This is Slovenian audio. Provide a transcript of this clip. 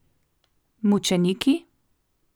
Mučeniki?